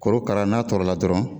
Korokara n'a tɔrɔla dɔrɔn